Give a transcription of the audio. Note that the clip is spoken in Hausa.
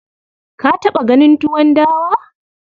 Ka taɓa ganin tuwon dawa?